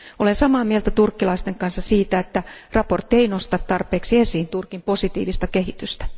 Olen samaa mieltä turkkilaisten kanssa siitä, että mietintö ei nosta tarpeeksi esiin Turkin positiivista kehitystä.